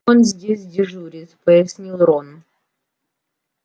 он здесь дежурит пояснил рон